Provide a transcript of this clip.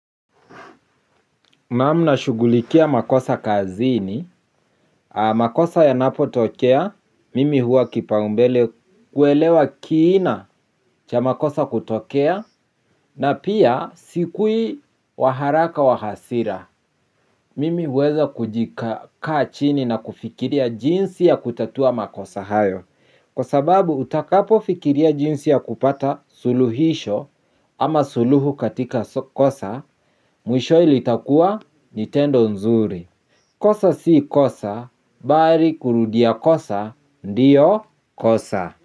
Naam na shughulikia makosa kazini, makosa yanapo tokea, mimi huwa kipaumbele kuelewa kiina cha makosa kutokea, na pia sikuwi waharaka wahasira. Mimi huweza kujikaa chini na kufikiria jinsi ya kutatua makosa hayo. Kwa sababu utakapo fikiria jinsi ya kupata suluhisho ama suluhu katika kosa, mwishowe litakuwa nitendo nzuri. Kosa si kosa, bali kurudia kosa, ndiyo kosa.